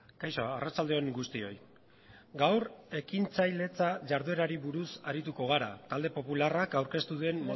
kaixo arratsalde on guztioi gaur ekintzailetza jarduerari buruz arituko gara talde popularrak aurkeztu duen